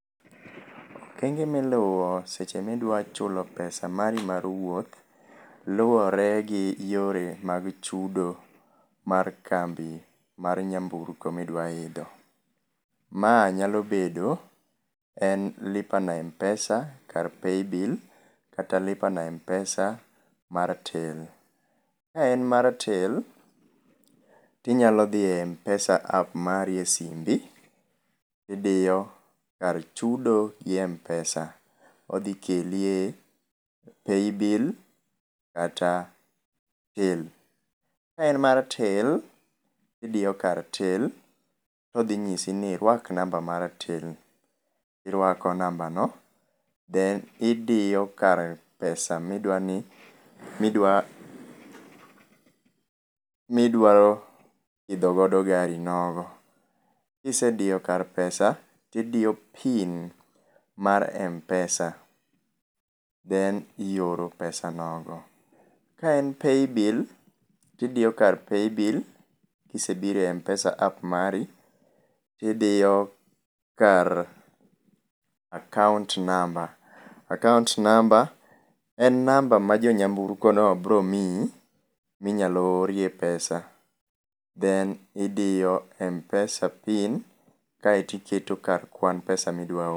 Okenge miluwo seche midwa chulo pesa mari mar wuoth luwore gi yore mag chudo mar kambi mar nyamburko midwa idho. Mae nyalo bedo en Lipa na Mpesa kar paybill kata lipa na Mpesa mar Till. Ka en mar Till, tinyalo dhie e mpesa app e simbi idiyo kar chudo gi Mpesa, odhi keli e Paybill kata till, ka en mar till, idiyo kar till todhi nyisi ini rwak namba mar till, irwak namba no then idiyo kar pesa midwani, midwaro midwaro idho godo garinogo. Kisediyo kar pesa tidiyo pin mar Mpesa then ioro pesa nogo. Kaen paybill tidiyo kar paybill kisedhi e Mpessa app mari tidiyo kar akaunt namba, akaunt namba en namba ma jo nyamburko no bo miyi minyalo orie pesa then idiyo Mpesa pin kaito iketo kar kwan pesa midwa oro